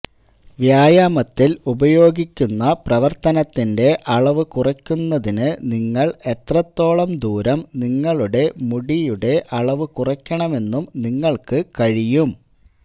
വ്യായാമത്തിൽ ഉപയോഗിക്കുന്ന പ്രവർത്തനത്തിന്റെ അളവ് കുറയ്ക്കുന്നതിന് നിങ്ങൾ എത്രത്തോളം ദൂരം നിങ്ങളുടെ മുടിയുടെ അളവ് കുറയ്ക്കണമെന്നും നിങ്ങൾക്ക് കഴിയും